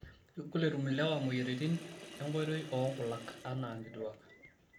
Kegol etum lewa moyiaritin enkoitoi oo nkulak anaa nkituak.